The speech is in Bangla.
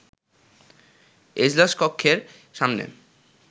এজলাস কক্ষের সামনে